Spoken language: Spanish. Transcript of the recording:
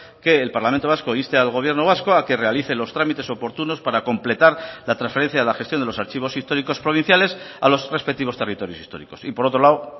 que el parlamento vasco inste al gobierno vasco a que realice los trámites oportunos para completar la transferencia de la gestión de los archivos históricos provinciales a los respectivos territorios históricos y por otro lado